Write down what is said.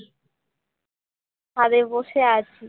ছাদে বসে আছি